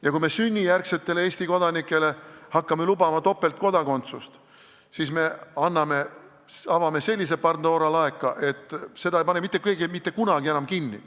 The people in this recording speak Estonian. Ja kui me sünnijärgsetele Eesti kodanikele hakkame lubama topeltkodakondsust, siis me avame sellise Pandora laeka, et seda ei pane keegi mitte kunagi enam kinni.